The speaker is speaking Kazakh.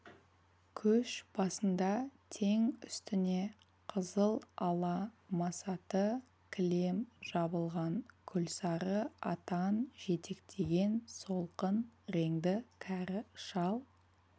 көш басында тең үстіне қызыл ала масаты кілем жабылған күлсары атан жетектеген солғын реңді кәрі шал